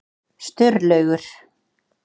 Sturlaugur